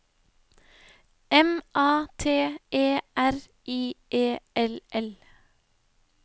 M A T E R I E L L